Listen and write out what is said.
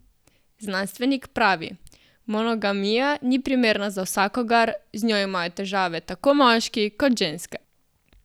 Znanstvenik pravi: "Monogamija ni primerna za vsakogar, z njo imajo težave tako moški kot ženske.